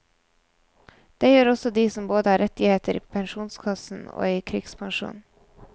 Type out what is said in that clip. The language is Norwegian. Det gjør også de som både har rettigheter i pensjonskassen og i krigspensjonen.